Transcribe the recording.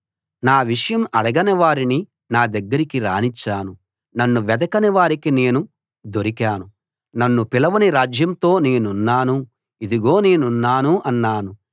నా విషయం అడగని వారిని నా దగ్గరికి రానిచ్చాను నన్ను వెదకని వారికి నేను దొరికాను నన్ను పిలవని రాజ్యంతో నేనున్నాను ఇదిగో నేనున్నాను అన్నాను